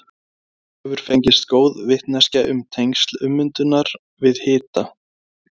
Þannig hefur fengist góð vitneskja um tengsl ummyndunar við hita.